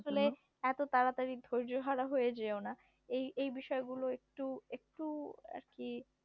আসলে এত তাড়াতাড়ি ধৈর্য হারা হয়ে যেও না। এই এই বিষয়গুলো একটু একটু আর কি